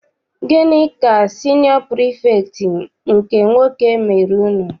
Gịnị ka siniọ pirifektị nke nwoke mere unu?